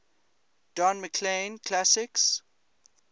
don mclean classics